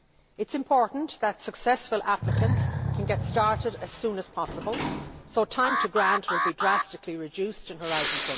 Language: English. It is important that successful applicants can get started as soon as possible, so time to grant will be drastically reduced in Horizon